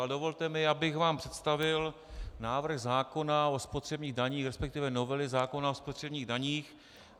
Ale dovolte mi, abych vám představil návrh zákona o spotřebních daních, respektive novely zákona o spotřebních daních.